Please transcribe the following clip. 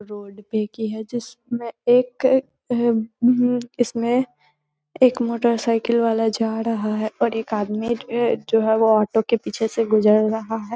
Road पे एक ही है जिसमें एक एहेम हुम्म इसमें एक मोटर साइकिल वाला जा रहा है और एक आदमी ए जो है वो ऑटो के पीछे से गुजर रहा है।